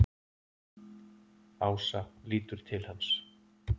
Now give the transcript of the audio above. Ása lítur til hans.